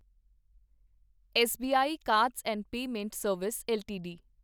SBI cards and payment service LTD